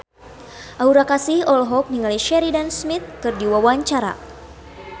Aura Kasih olohok ningali Sheridan Smith keur diwawancara